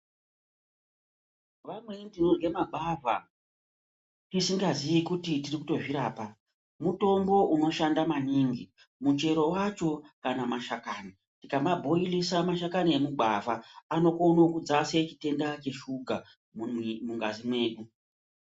Vamweni tinorya magwavha tisingaziyi kuti tirikutozvirapa. Mutombo unoshanda maningi muchero vacho kana mashakani. Tinomabhoilisa mashakani emugwavha anokona kudzase chitenda cheshuga mumwiri mungazi mwedu.